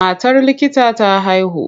Matar likita ta haihu.